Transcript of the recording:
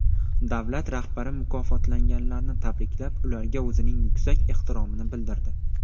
Davlat rahbari mukofotlanganlarni tabriklab, ularga o‘zining yuksak ehtiromini bildirdi.